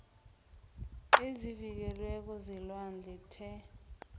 ezivikelweko zelwandle the